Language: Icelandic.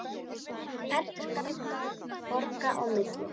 Ferjur ganga borga á milli.